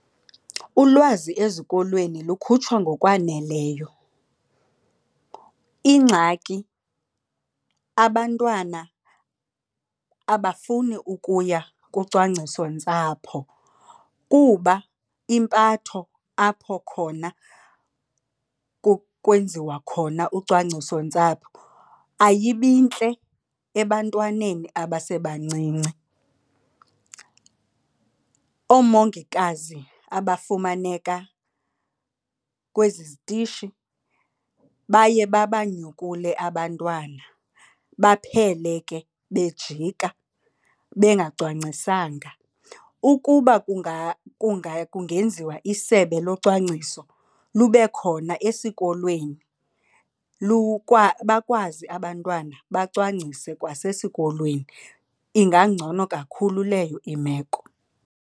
Ulwazi ezikolweni lukhutshwa ngokwaneleyo. Ingxaki abantwana abafuni ukuya kucwangcisontsapho kuba impatho apho khona kwenziwa khona ucwangcisontsapho ayibintle ebantwaneni abasebancinci. Oomongikazi abafumaneka kwezi zitishi baye babanyukule abantwana, baphele ke bejika bengacwangisanga. Ukuba kungenziwa isebe locwangciso lube khona esikolweni bakwazi abantwana bacwangcise kwasesikolweni, ingangcono kakhulu leyo imeko.